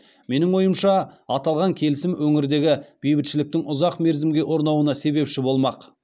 менің ойымша аталған келісім өңірдегі бейбітшіліктің ұзақ мерзімге орнауына себепші болмақ